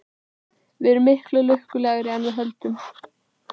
Við erum miklu lukkulegri en við höldum.